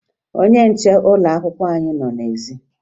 Ọnye nche ụlọakwụkwọ anyị nọ n'ezi